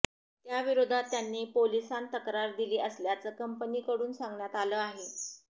त्याविरोधात त्यांनी पोलिसांत तक्रार दिली असल्याचं कंपनीकडून सांगण्यात आलं आहे